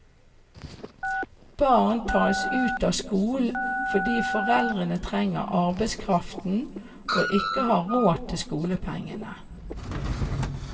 Barn tas ut av skolen fordi foreldrene trenger arbeidskraften og ikke har råd til skolepengene.